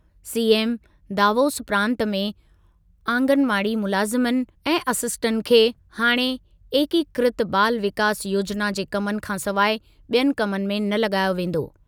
CM दावोस प्रांत में आंगनवाड़ी मुलाज़िमनि ऐं असिस्टेंटनि खे हाणे एकीकृत बाल विकास योजिना जे कमनि खां सवाइ ॿियनि कमनि में न लॻायो वेंदो।